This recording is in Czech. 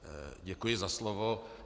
Děkuji za slovo.